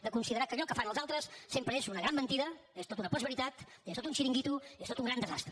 de considerar que allò que fan els altres sempre és una gran mentida és tot una postveritat és tot un xiringuito és tot un gran desastre